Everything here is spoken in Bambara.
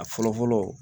A fɔlɔ fɔlɔ